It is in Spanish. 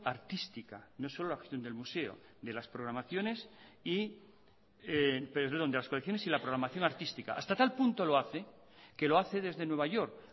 artística no solo la acción del museo de las colecciones y la programación artística hasta tal punto lo hace que lo hace desde nueva york